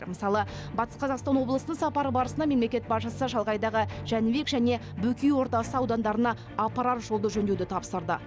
мысалы батыс қазақстан облысына сапары барысында мемлекет басшысы шалғайдағы жәнібек және бөкей ордасы аудандарына апарар жолды жөндеуді тапсырды